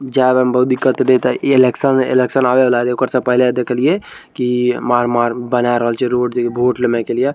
जावे में बहुत दिक्क्त देता है इ इलेक्शन इलेक्शन आवे वाला हइ ओकरा से पहले देखेलइये की मार-मार बना रहल छे रोड दे वोट लेने के लिए --